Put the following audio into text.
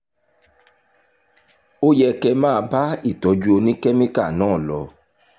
ó yẹ kẹ́ ẹ máa bá ìtọ́jú oníkẹ́míkà náà lọ